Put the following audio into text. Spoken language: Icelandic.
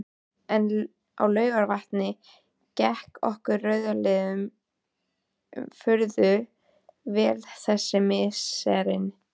En á Laugarvatni gekk okkur rauðliðum furðu vel þessi misserin.